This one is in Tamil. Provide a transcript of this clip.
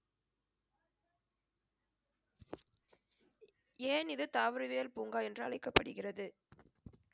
ஏன் இது தாவரவியல் பூங்கா என்று அழைக்கப்படுகிறது